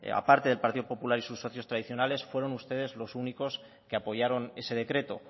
a parte del partido popular y sus socios tradiciones fueron ustedes los únicos que apoyaron ese decreto